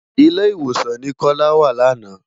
Ilé-Iwósán ni Kola wá làná